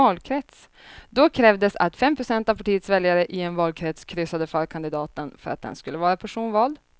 Då krävdes att fem procent av partiets väljare i en valkrets kryssade för kandidaten för att den skulle vara personvald.